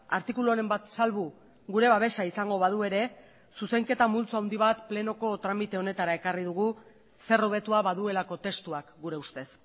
artikuluren bat salbu gure babesa izango badu ere zuzenketa multzo handi bat plenoko tramite honetara ekarri dugu zer hobetua baduelako testuak gure ustez